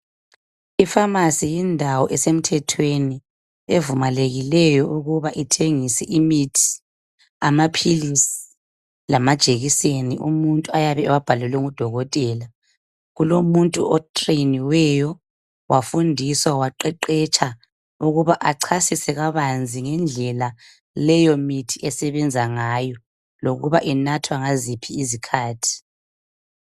I pharmacy indawo esemthethweni evumelekileyo ukuba ithengise imithi amaphilisi lamajekiseni umuntu ayabe ewabhalelwe ngudokotela. Kulomuntu otreniweyo wafundiswa baqeqetsha ukuba achasise kabanzi ngendlela leyomithi esebenza ngayo lokuba inathwa ngaziphi izikhathi.